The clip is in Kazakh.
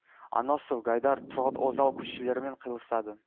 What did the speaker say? аносов гайдар тұрғұт озал көшелерімен қиылысады